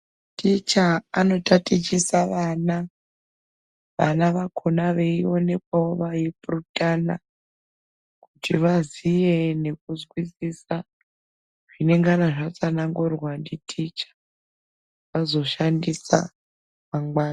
Ticha anotatichisa vana vana vakhona veionekwawo veipurutana kuti vaziye nekuzwisisa zvinengana zvatsanangurwa nditicha vazoshandisa mangwana.